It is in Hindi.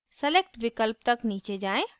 select विकल्प तक नीचे जाएँ